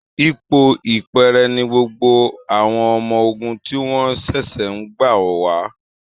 Ipò ìpẹ́ẹ̀rẹ̀ ni gbogbo àwọn ọmọ ogun tí wọ́n ṣẹ̀ṣẹ̀ ń gbà wà